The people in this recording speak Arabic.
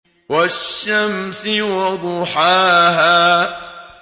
وَالشَّمْسِ وَضُحَاهَا